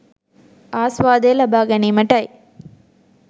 ආස්වාදය ලබා ගැනීමටයි.